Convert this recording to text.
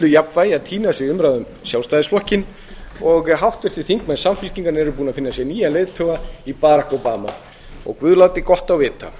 jafnvægi að týnast í umræðu um sjálfstæðisflokkinn og háttvirtir þingmenn samfylkingarinnar eru búnir að finna sér nýjan leiðtoga barack obama guð láti gott á vita